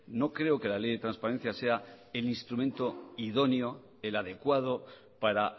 no creo que la ley de transparencia sea el instrumento idóneo el adecuado para